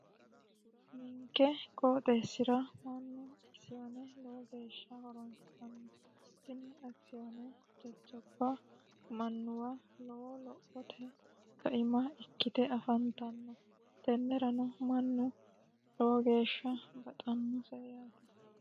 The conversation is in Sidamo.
ninke qooxeessi'ra mannu akisiyoone lowo geeshsha horonsiranno hime akisiyoone jajcaba mannuwa lowo lophote kaima ikkite afantanno tennerano mannu lowo geeshsha baxannose yaate